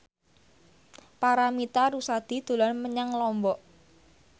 Paramitha Rusady dolan menyang Lombok